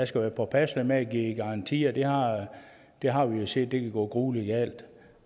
skal være påpasselig med at give garantier vi har har jo set at det kan gå gruelig galt